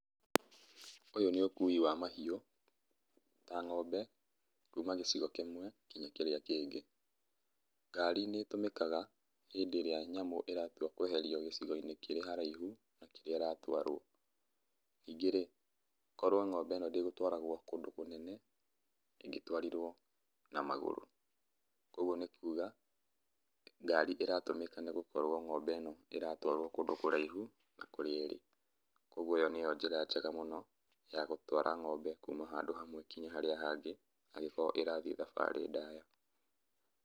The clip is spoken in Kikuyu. Ũyũ nĩ ũkui wa mahiũ, ta ngombe, kuma gĩcigo kĩmwe nginya kĩrĩa kĩngĩ. Ngari nĩ tũmikaga hĩndĩ iria nyamũ ĩratua kweherio gĩcigoinĩ kĩrĩ haraihu na kũrĩa ĩratwarwo. Ningĩ rĩ, korwo ngombe ĩno ndĩgũtwaragwo kũndũ kũnene, ingĩtwarirwo na magũrũ. Koguo nĩ kuga, ngari ĩratũmĩka nĩgũkorwo ngombe ĩno ĩratwarwo kũndũ kũraihu, na kũrĩa ĩrĩ. Koguo ĩyo nĩyo njĩra njega mũno, ya gũtwara ngombe kuma handũ hamwe nginya harĩa hangĩ, angĩkorwo ĩrathiĩ thabarĩ ndaya.